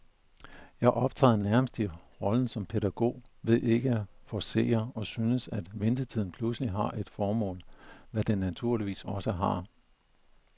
Jeg optræder nærmest i rollen som pædagog ved ikke at forcere, og synes, at ventetiden pludselig har et formål, hvad den naturligvis også har.